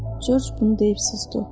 Corc bunu deyib susdu.